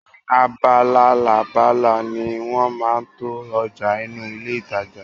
Ni abalalábala ni wọn máa ń to ọjà inú ilé ìtajà